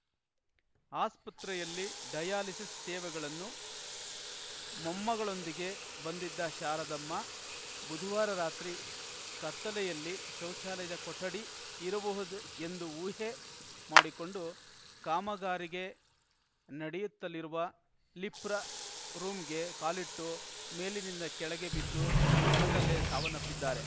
ಆಸ್ಪತ್ರೆಯಲ್ಲಿ ಡಯಾಲಿಸಿಸ್‌ ಸೇವೆಗಳನ್ನು ಮೊಮ್ಮಗಳೊಂದಿಗೆ ಬಂದಿದ್ದ ಶಾರದಮ್ಮ ಬುಧವಾರ ರಾತ್ರಿ ಕತ್ತಲೆಯಲ್ಲಿ ಶೌಚಾಲಯದ ಕೊಠಡಿ ಇರಬಹುದೆಂದು ಊಹೆ ಮಾಡಿಕೊಂಡು ಕಾಮಗಾರಿಗೆ ನಡೆಯುತ್ತಲಿರುವ ಲಿಪ್ರ ರೂಂಗೆ ಕಾಲಿಟ್ಟು ಮೇಲಿನಿಂದ ಕೆಳಗೆ ಬಿದ್ದು ಸ್ಥಳದಲ್ಲೇ ಸಾವನ್ನಪ್ಪಿದ್ದಾರೆ